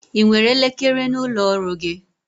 I nwere elekere n'ụlọ ọrụ gi?